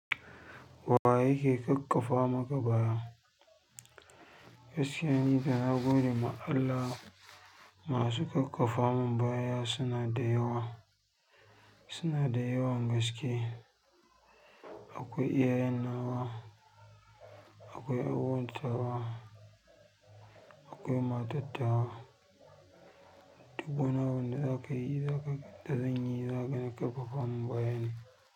Wa yake ƙaƙƙafa maka baya? Gaskiya nidai na gode ma Allah masu kakkafa mun baya suna da yawa, suna da yawan gaske. Akwai iyayen nawa, akwai 'yar uwar tawa, akwai matar tawa duk wani abu da za ka yi, za ka, da zan yi, za ka ga kakkafa mun baya ne.